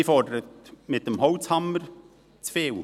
Sie fordert mit dem Holzhammer zu viel.